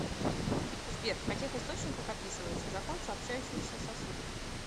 сбер в каких источниках описывается закон сообщающихся сосудов